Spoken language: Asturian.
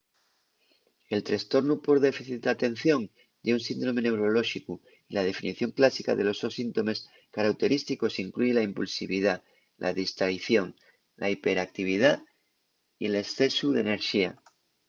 el trestornu por déficit d’atención ye un síndrome neurolóxicu y la definición clásica de los sos síntomes carauterísticos incluye la impulsividá la distraición la hiperactividá y l’escesu d’enerxía